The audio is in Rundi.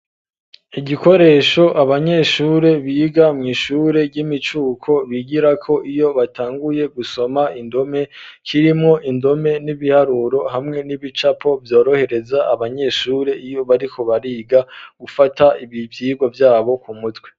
Igikoresho abanyeshure biga mw' ishure ry'imicuko bigirako iyo batanguye gusoma indome, kirimwo indome n'ibiharuro hamwe n'ibicapo vyorohereza abanyeshure iyo bariko bariga gufata ibi vyigwa vyabo ku mutwe.